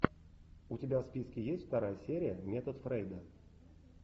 у тебя в списке есть вторая серия метод фрейда